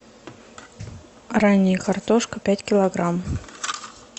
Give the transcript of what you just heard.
ранняя картошка пять килограмм